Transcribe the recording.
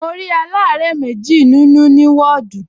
Mo rí aláàárẹ̀ méjì nínú ní wọ́ọ̀dù